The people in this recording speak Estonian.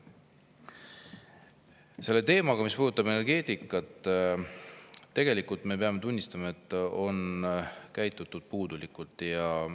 Samas on seda teemat, mis puudutab energeetikat, tegelikult – me peame seda tunnistama – puudulikult.